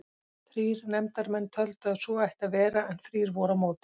Þrír nefndarmenn töldu að svo ætti að vera en þrír voru á móti.